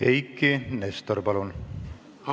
Eiki Nestor, palun!